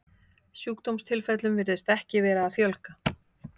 Sjúkdómstilfellum virðist ekki vera að fjölga.